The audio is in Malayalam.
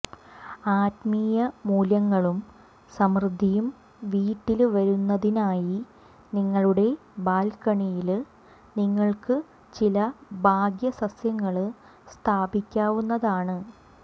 ആത്മീയ മൂല്യങ്ങളും സമൃദ്ധിയും വീട്ടില് വരുത്തുന്നതിനായി നിങ്ങളുടെ ബാല്ക്കണിയില് നിങ്ങള്ക്ക് ചില ഭാഗ്യ സസ്യങ്ങള് സ്ഥാപിക്കാവുന്നതാണ്